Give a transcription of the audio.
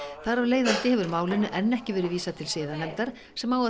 þar af leiðandi hefur málinu enn ekki verið vísað til siðanefndar sem á að